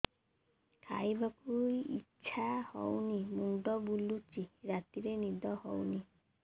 ଖାଇବାକୁ ଇଛା ହଉନି ମୁଣ୍ଡ ବୁଲୁଚି ରାତିରେ ନିଦ ହଉନି